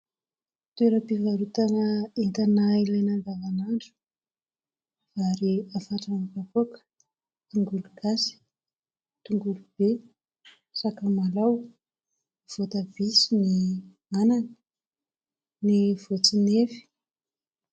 Toeram-pivarotana entana ilaina andavan'andro. Vary afatrà amin'ny kapoaka, tongolo gasy, tongolo be, sakamalao, voatabia sy ny anana, ny voatsinefy.